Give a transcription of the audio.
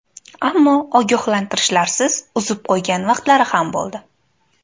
Ammo ogohlantirishlarsiz uzib qo‘ygan vaqtlari ham bo‘ldi.